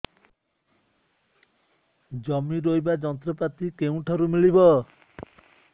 ଜମି ରୋଇବା ଯନ୍ତ୍ରପାତି କେଉଁଠାରୁ ମିଳିବ